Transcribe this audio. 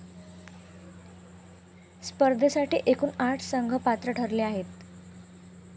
स्पर्धेसाठी एकून आठ संघ पात्र ठरले आहेत.